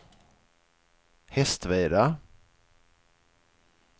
Hästveda